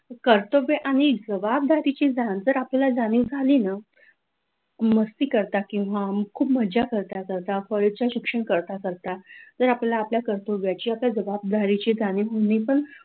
कर्तव्य आणि जबाबदारीची नंतर आपल्याला जाणीव झाली ना, मस्ती करता किंवा खूप मजा करता करता कॉलेजच्या शिक्षण करता करता जर आपल्या कर्तव्याच्या आपल्या जबाबदाऱ्याची आणि होनी पण,